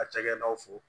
A cakɛdaw fo